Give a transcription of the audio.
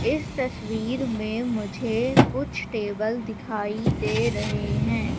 इस तस्वीर में मुझे कुछ टेबल दिखाई दे रहे हैं।